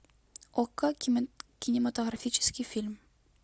окко кинематографический фильм